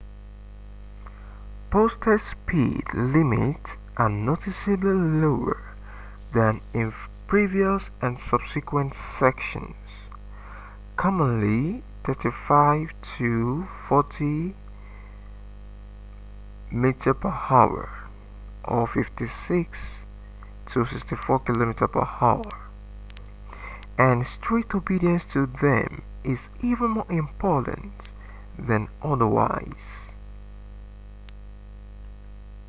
posted speed limits are noticeably lower than in previous and subsequent sections — commonly 35-40 mph 56-64 km/h — and strict obedience to them is even more important than otherwise